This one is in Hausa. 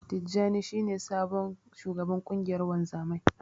Tijjani shi ne sabon shugaban ƙungiyar wanzamai.